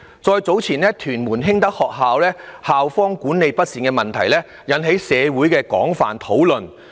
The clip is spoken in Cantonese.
再早前的屯門興德學校校方管理不善的問題，亦引起了社會的廣泛討論。